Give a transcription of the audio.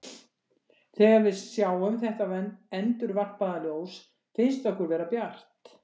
Þegar við sjáum þetta endurvarpaða ljós finnst okkur vera bjart.